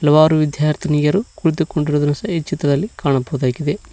ಹಲವಾರು ವಿದ್ಯಾರ್ಥಿನಿಯರು ಕುಳಿತುಕೊಂಡಿರುವ ದೃಶ್ಯ ಈ ಚಿತ್ರದಲ್ಲಿ ಕಾಣಬಹುದಾಗಿದೆ.